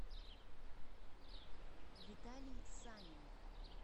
виталий санин